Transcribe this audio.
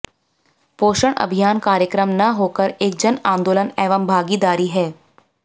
पोषण अभियान कार्यक्रम न होकर एक जन आंदोलन एवं भागीदारी है